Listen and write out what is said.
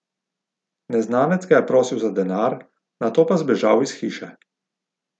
Neznanec ga je prosil za denar, nato pa zbežal iz hiše.